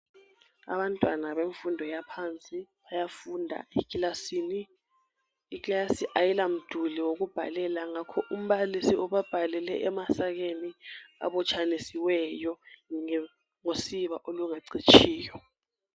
Abantwana bemfundo yaphansi bayafunda ekilasini. Iklasi ayilamduli wokubhalela ngakho umbalisi ubabhalele emasakeni abotshanisiweyo ngosiba olungacitshiyo.